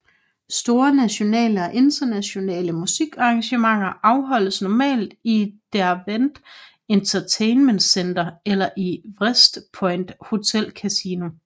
Store nationale og internationale musikarrangementer afholdes normalt i Derwent Entertainment Centre eller i Wrest Point Hotel Casino